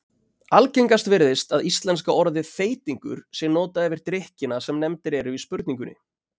Algengast virðist að íslenska orðið þeytingur sé notað yfir drykkina sem nefndir eru í spurningunni.